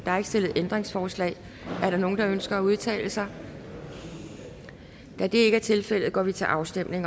er ikke stillet ændringsforslag er der nogen der ønsker at udtale sig da det ikke er tilfældet går vi til afstemning